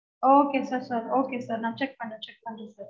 okay sir okay sir நா check பண்றேன் check பண்றேன் sir